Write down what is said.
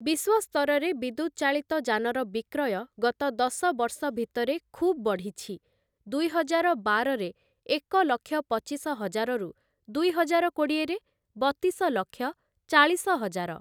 ବିଶ୍ଵସ୍ତରରେ ବିଦ୍ୟୁତ୍‌ଚାଳିତ ଯାନର ବିକ୍ରୟ ଗତ ଦଶ ବର୍ଷ ଭିତରେ ଖୁବ୍‌ ବଢ଼ିଛି ଦୁଇହଜାର ବାରରେ ଏକ ଲକ୍ଷ ପଚିଶ ହଜାରରୁ ଦୁଇହଜାର କୋଡ଼ିଏରେ ବତିଶ ଲକ୍ଷ ଚାଳିଶ ହଜାର ।